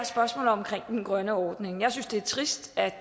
spørgsmålet omkring den grønne ordning jeg synes det er trist at